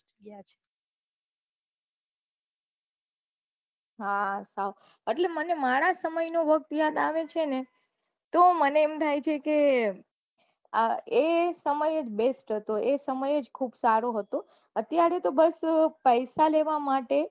હા મને મારા સમય નો વખત યાદ આવે છે ને તો મને એમ થાય છે કે ને એ સમયજ best હતો એ સમય જ બહુ સારો હતો અત્યારે તો બસ પૈસા લેવા માટે